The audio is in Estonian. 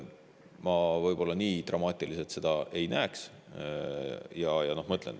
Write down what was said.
Ma võib-olla nii dramaatiliselt seda ei näeks.